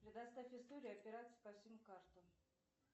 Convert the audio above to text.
предоставь историю операций по всем картам